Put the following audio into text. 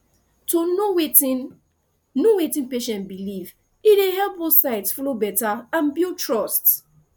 to know wetin know wetin patient believe e dey help both sides flow better and build trust